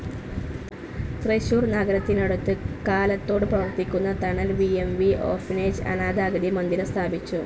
തൃശൂർ നഗരത്തിനടുത്ത് കാലത്തോട് പ്രവർത്തിക്കുന്ന തണൽ വി എം വി ഓർഫനേജ്‌ അനാഥ അഗതി മന്ദിരം സ്ഥാപിച്ചു.